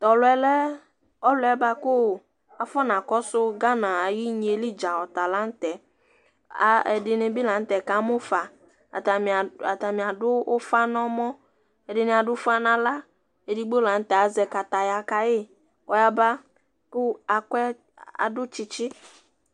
T'ɔlʋ yɛ lɛ ɔlʋ yɛ bua kʋ afɔna kɔna kɔsʋ gamɛ, n'igne yɛ li dzaa ɔtala nʋtɛ A a ɛdini bi la n'tɛ kamu fa Atani adʋ ʋfa n'ɔmɔ, ɛdini adʋ ʋfa n'aɣls, edigbo la n'tɛ azɛ kataya kayi k'ɔyaba, kʋ ak'ɛ, k'adʋ tsitsi